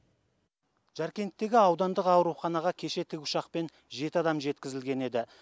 жаркенттегі аудандық ауруханаға кеше тікұшақпен жеті адам жеткізілген еді